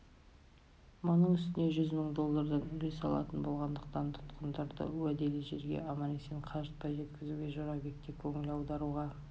мұның үстіне жүз мың доллардан үлес алатын болғандықтан тұтқындарды уәделі жерге аман-есен қажытпай жеткізуге жорабек те көңіл аударуға